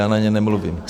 Já na něj nemluvím.